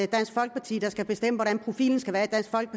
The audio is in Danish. dansk folkeparti der skal bestemme hvordan profilen skal være